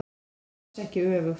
En alls ekki öfugt.